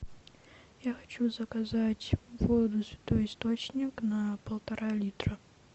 я хочу заказать воду святой источник на полтора литра